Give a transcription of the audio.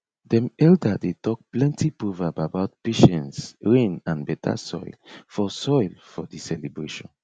dem elder dey tok plenty proverb about patience rain and better soil for soil for the celebration